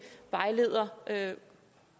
vejleder